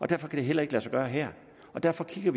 derfor kan det heller ikke lade sig gøre her derfor kigger